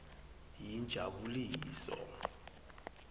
yinjabuliso